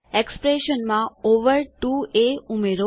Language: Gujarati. એક્સપ્રેશનમાં ઓવર 2એ ઉમેરો